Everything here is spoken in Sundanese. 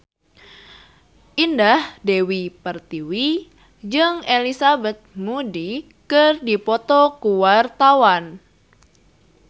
Indah Dewi Pertiwi jeung Elizabeth Moody keur dipoto ku wartawan